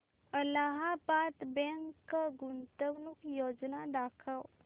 Allahabad bank गुंतवणूक योजना दाखव